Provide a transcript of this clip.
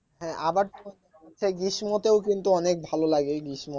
হ্যাঁ আবার গ্রীষ্মতেও কিন্তু অনেক ভালো লাগে এই গ্রীষ্ম